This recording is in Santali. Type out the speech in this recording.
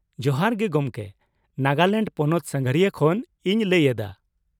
ᱡᱚᱦᱟᱨ ᱜᱮ ᱜᱚᱢᱠᱮ ! ᱱᱟᱜᱟᱞᱮᱱᱰ ᱯᱚᱱᱚᱛ ᱥᱟᱸᱜᱷᱟᱨᱤᱭᱟᱹ ᱠᱷᱚᱱ ᱤᱧ ᱞᱟᱹᱭ ᱮᱫᱟ ᱾